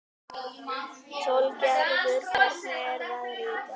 Sólgerður, hvernig er veðrið í dag?